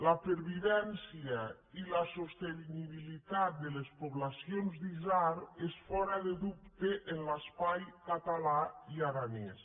la pervivència i la sostenibilitat de les poblacions d’isard és fora de dubte en l’espai català i aranès